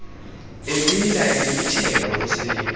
ebila ebibitheka ngumsindo